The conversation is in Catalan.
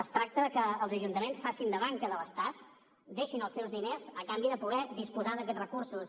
es tracta que els ajuntaments facin de banca de l’estat deixin els seus diners a canvi de poder disposar d’aquests recursos